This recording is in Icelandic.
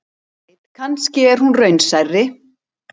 En hver veit, kannski er hún raunsærri.